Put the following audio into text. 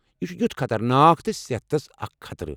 یہِ چھُ تیُتھ خطرناك تہٕ صحتس اکھ خطرٕ۔